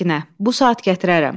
Səkinə, bu saat gətirərəm.